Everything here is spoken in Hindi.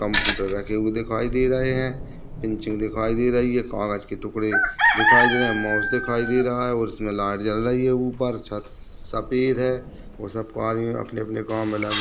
कंप्यूटर रखे हुए दिखाई दे रहे है पिनचिंग दिखाई दे रही है कागज के टुकड़े दिखाई दे रहे माउस दिखाई दे रहा है और उसमें लाइट जल रही है ऊपर छत सफेद है और सबको आगे अपने -अपने काम में लगे--